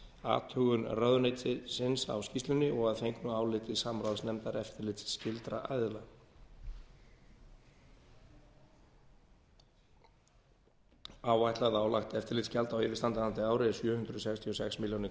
athugun ráðuneytisins á skýrslunni og að fengnu áliti samráðsnefndar eftirlitsskyldra aðila áætlað álagt eftirlitsgjald á yfirstandandi ári er sjö hundruð sextíu og sex milljónir